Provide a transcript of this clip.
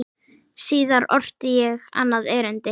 Síðar orti ég annað erindi.